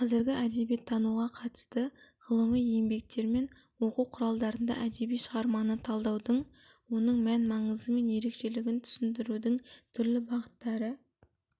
қазіргі әдебиеттануға қатысты ғылыми еңбектер мен оқу құралдарында әдеби шығарманы талдаудың оның мән-маңызы мен ерекшелігін түсіндірудің түрлі бағыттары